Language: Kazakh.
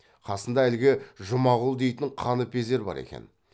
қасында әлгі жұмағұл дейтін қаныпезер бар екен